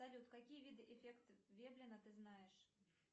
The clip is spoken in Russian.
салют какие виды эффект веблена ты знаешь